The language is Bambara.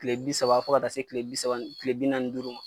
Kile bi saba fo ka taa se kile bi saba kile bi nanni ni duuru ma.